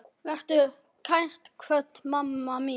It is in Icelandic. Vertu kært kvödd, mamma mín.